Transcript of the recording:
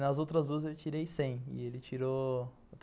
Nas outras duas, eu tirei cem e ele tirou...